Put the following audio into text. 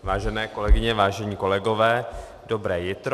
Vážené kolegyně, vážení kolegové, dobré jitro.